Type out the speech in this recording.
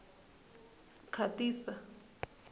khatisa